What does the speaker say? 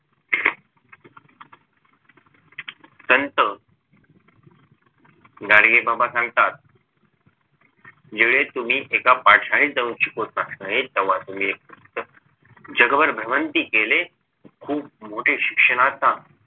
संत गाडगेबाबा सांगतात ज्या वेळेत तुम्ही एका पाठशाळेत जाऊन शिकवता त्या वेळेत तुम्ही एक उच्च जगभर भ्रमंती केले खूप मोठे शिक्षणाचा